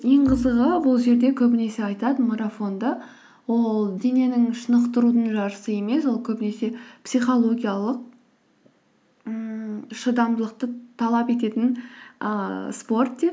ең қызығы бұл жерде көбінесе айтады марафонды ол дененің шынықтырудың жарысы емес ол көбінесе психологиялық ммм шыдамдылықты талап ететін ііі спорт деп